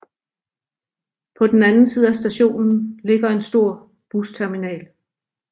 På den anden side af stationen ligger en stor busterminal